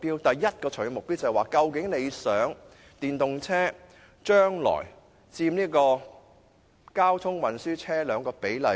第一個長遠目標是，究竟政府希望電動車將來在車輛總數中佔一個多大的比例？